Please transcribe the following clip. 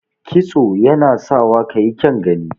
Kitso yanap sawa ka yi kyaun gani.